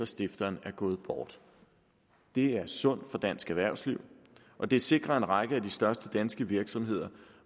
stifteren er gået bort det er sundt for dansk erhvervsliv og det sikrer en række af de største danske virksomheder